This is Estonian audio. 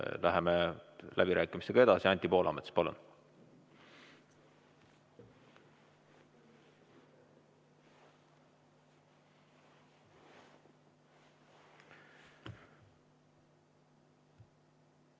Läheme läbirääkimistega edasi, Anti Poolamets, palun!